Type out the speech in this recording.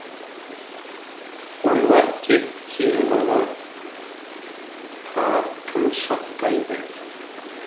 қойлар тек кейін ғана тартыншақтайды